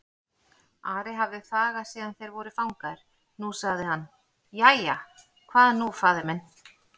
Ari hafði þagað síðan þeir voru fangaðir, nú sagði hann:-Jæja, hvað nú faðir minn?